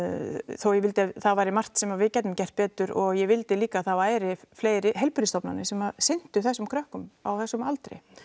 þó ég vildi að það væri margt sem við gætum gert betur og ég vildi líka að það væru fleiri heilbrigðisstofnanir sem sinntu þessum krökkum á þessum aldri